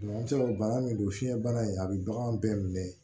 i b'a sɔrɔ bana min don fiɲɛbana in a bɛ bagan bɛɛ minɛ